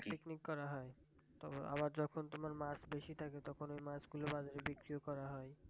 picnic করা হয় তবে আবার যখন তোমার মাছ বেশি থাকে তখন ঐ মাছ গুলো বিক্রিও করা হয়।